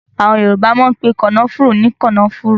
Àwọn Yorùbá máa ń pe kànáfùrú ní kànáfùrú